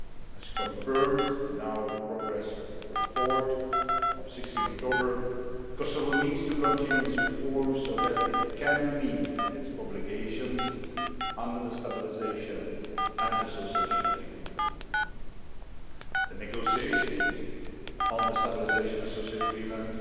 As confirmed in our Progress Report of 16 October, Kosovo needs to continue its reforms so that it can meet its obligations under the Stabilisation and Association Agreement. The negotiations on the Stabilisation and Association Agreement